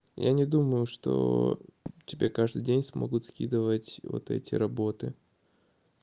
я не думаю что тебе каждый день смогут скидывать вот эти работы